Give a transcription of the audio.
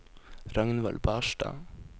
Ragnvald Barstad